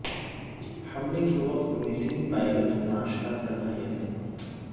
حملے کے وقت مصری پائلٹ ناشتہ کر رہے تھے